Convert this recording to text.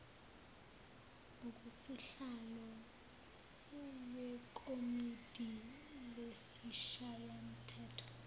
kusihlalo wekomidi lesishayamthetho